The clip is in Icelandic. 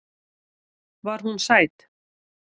Var hún sæt?